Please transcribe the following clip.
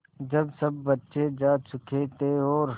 जब सब बच्चे जा चुके थे और